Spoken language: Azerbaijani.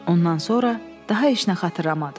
Ondan sonra daha heç nə xatırlamadım.